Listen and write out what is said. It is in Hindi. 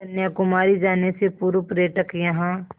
कन्याकुमारी जाने से पूर्व पर्यटक यहाँ